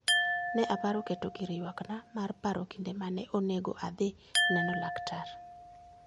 Ne aparo keto gir ywakna mar paro kinde ma ne onego adhi neno laktar.